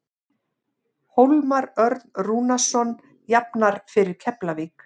Hólmar Örn Rúnarsson jafnar fyrir Keflavík.